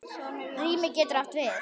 Rými getur átt við